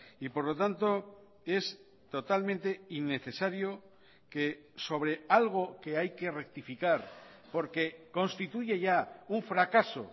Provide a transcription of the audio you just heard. y por lo tanto es totalmente innecesario que sobre algo que hay que rectificar porque constituye ya un fracaso